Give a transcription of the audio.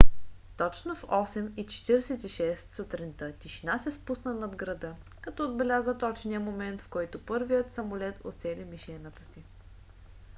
точно в 8:46 сутринта тишина се спусна над града като отбеляза точния момент в който първият самолет уцели мишената си